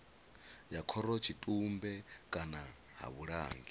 ya khorotshitumbe kana ha vhulangi